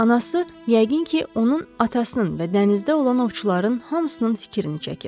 Anası yəqin ki, onun atasının və dənizdə olan ovçuların hamısının fikrini çəkir.